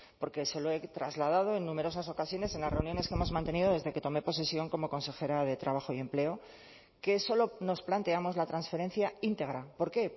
porque se lo he trasladado en numerosas ocasiones en las reuniones que hemos mantenido desde que tomé posesión como consejera de trabajo y empleo que solo nos planteamos la transferencia íntegra por qué